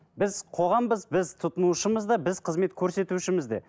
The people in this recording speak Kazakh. біз қоғамбыз біз тұтынушымыз да біз қызмет көрсетушіміз де